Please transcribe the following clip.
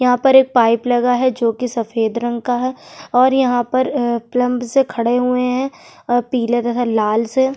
यहाँ पर एक पाइप लगा है जो की सफ़ेद रंग का है और यहाँ पर अ प्लंब्स से खड़े हुए है आह पीले तथा लाल से--